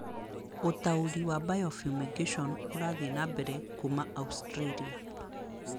Ũtaũri wa bio-fumigation ũrathiĩ na mbere kuuma Australia